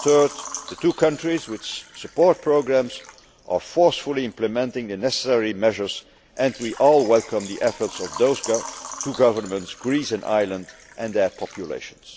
and third, the two countries with support programmes are forcefully implementing the necessary measures and we all welcome the efforts of those two governments, of Greece and Ireland, and their populations.